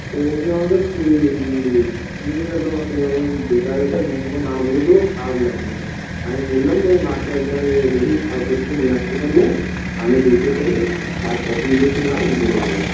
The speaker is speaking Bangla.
তো উনি আমাকে নিয়ে এলো আমাকে মানে বেকার বেকার মুখের ওপর না বলে দেবো খরাপ লাগবে আমি বোললাম যে আমি মাকে একবার দেখি কাল পোরসু তে নিয়ে আসতে পারলে আমি দেখিয়ে ফেললে হ্যাঁ পছন্দ কিনা আমি বলে দেবো